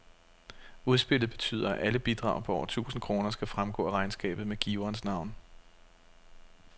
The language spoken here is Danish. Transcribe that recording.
Udspillet betyder, at alle bidrag på over tusind kroner skal fremgå af regnskabet med giverens navn.